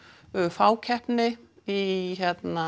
fákeppni í